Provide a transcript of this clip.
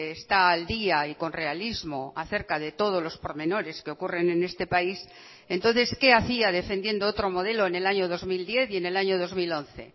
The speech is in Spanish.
está al día y con realismo acerca de todos los pormenores que ocurren en este país entonces qué hacía defendiendo otro modelo en el año dos mil diez y en el año dos mil once